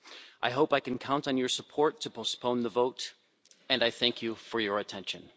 I hope I can count on your support to postpone the vote, and I thank you for your attention.